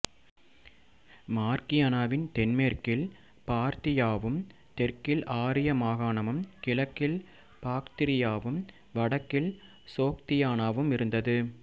மார்க்கியானாவின் தென்மேற்கில் பார்த்தியாவும் தெற்கில் ஆரிய மாகாணமும் கிழக்கில் பாக்திரியாவும் வடக்கில் சோக்தியானாவும் இருந்தது